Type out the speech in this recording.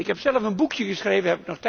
Ik heb zelf een boekje geschreven.